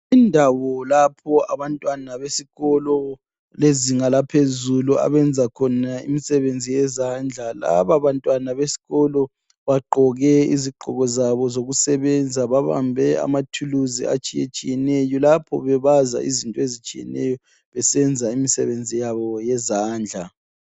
Indawo lapho abantwana besikolo lezinga laphezulu abenza khona imisebenzi yezandla. Laba bantwana besikolo bagqoke izigqoko zabo zokusebenza babambe amathuluzi atshiyetshiyeneyo lapho bebaza izinto ezitshiyeneyo besenza imisebenzi yabo yezandla.